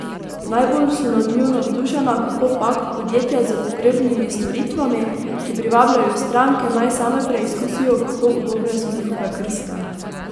Najbolj so nad njo navdušena, kakopak, podjetja s pogrebnimi storitvami, ki privabljajo stranke, naj same preizkusijo, kako udobne so njihove krste.